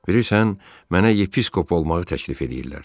Bilirsən, mənə yepiskop olmağı təklif eləyirlər.